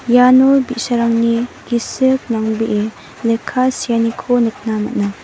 iano bi·sarangni gisik nangbee lekka seaniko nikna man·a.